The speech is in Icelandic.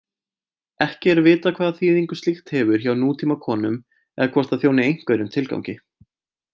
Ekki er vitað hvaða þýðingu slíkt hefur hjá nútímakonum eða hvort það þjóni einhverjum tilgangi.